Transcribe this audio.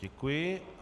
Děkuji.